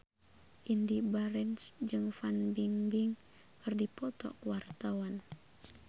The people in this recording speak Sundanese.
Indy Barens jeung Fan Bingbing keur dipoto ku wartawan